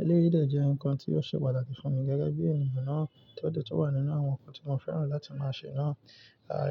Eléyìí jẹ́ nǹkan tí ó ṣe pàtàkì fún mi gẹ́gẹ́ bí ènìyàn náà tí ó ti wà nínú àwọn nǹkan tí mo fẹ́ràn láti máa ṣe náà.